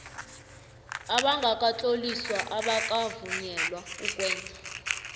abangakatloliswa abakavunyelwa ukwenza